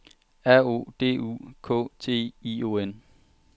R O D U K T I O N